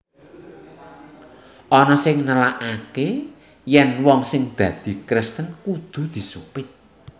Ana sing nélakaké yèn wong sing dadi Kristen kudu disupit